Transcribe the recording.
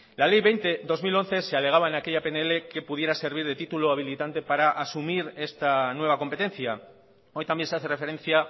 la ley veinte barra dos mil once se alegaba en aquella pnl que pudiera servir de título habilitante para asumir esta nueva competencia hoy también se hace referencia